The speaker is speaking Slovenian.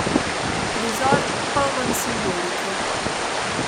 Prizor, poln simbolike!